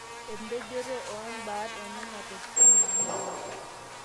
empejoto oombat onena tokitin naamanita